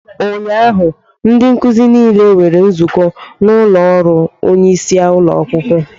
Ụnyaahụ ndị nkuzi niile nwere nzukọ n'ụlọ ọrụ onyeisi ụlọ akwụkwọ